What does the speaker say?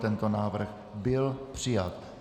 Tento návrh byl přijat.